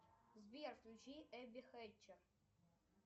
сбер включи эбби хэтчер